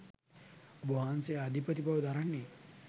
ඔබවහන්සේ අධිපති බව දරන්නේ